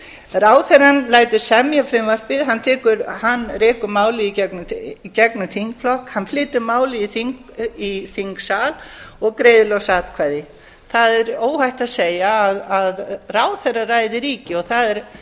ráðherrann lætur semja frumvarpið hann rekur málið í gegnum þingflokk hann flytur málið í þingsal og greiðir loks atkvæði það er óhætt að segja að ráðherraræði ríki og